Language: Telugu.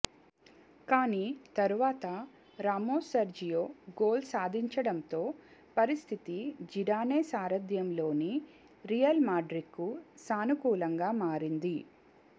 కానీ తర్వాత రామోస్ సెర్జియో గోల్ సాధించడంతో పరిస్థితి జిడానే సారధ్యంలోని రియల్ మాడ్రిడ్కు సానుకూలంగా మారింది